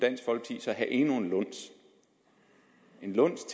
have endnu en luns